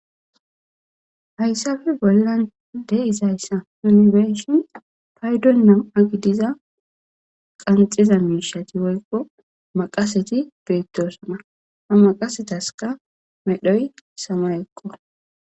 Hayssape bollan dei'zzayssa nuni be'shshin paydon namma' gidizza qanxiza mishshathi woykko maqasethi bethossona. Ha maqasethasikka medhoyi samayekko.